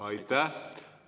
Aitäh!